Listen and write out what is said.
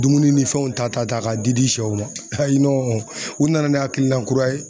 Dumuni ni fɛnw ta ta k'a di di sɛw ma ayi nɔn u nana ni hakilina kura ye